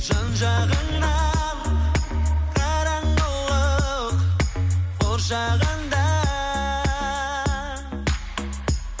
жан жағыңнан қараңғылық қоршағанда